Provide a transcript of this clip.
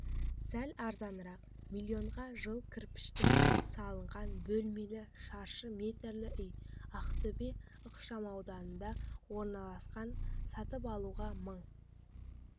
сәл арзанырақ миллионға жылы кірпіштен салынған бөлмелі шаршы метрлі үй ақтөбе ықшамауданында орналасқан сатып алушыға мың